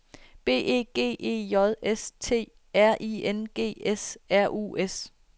B E G E J S T R I N G S R U S